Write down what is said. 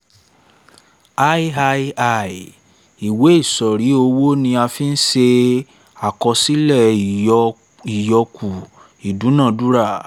iii ìwé ẹ̀rí owó ni a fí ń ṣe àkọsílẹ̀ ìyọ́kù ìdúnadúrà